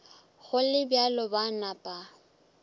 go le bjalo ba napa